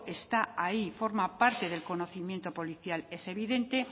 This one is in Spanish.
está ahí forma parte del conocimiento policial es evidente